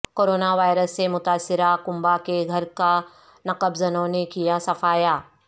coronavirus سے متاثرہ کنبہ کے گھر کا نقب زنوں نے کیا صفایا